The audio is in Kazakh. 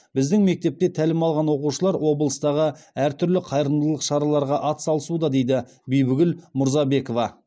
біздің мектепте тәлім алған оқушылар облыстағы әр түрлі қайырымдылық шараларға атсалысуда дейді бибігүл мурзабекова